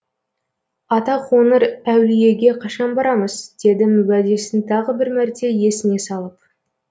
ата қоңыр әулиеге қашан барамыз дедім уәдесін тағы бір мәрте есіне салып